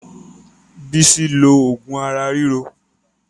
Bolaji ló oògùn ara ríro